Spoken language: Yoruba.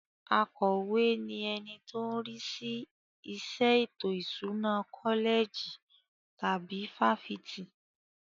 Akọ̀we ni ẹni tó ń rí sí iṣẹ́ ètò ìṣúná kọ́lẹ̀jì tàbí fáfitì.